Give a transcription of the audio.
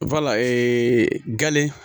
gale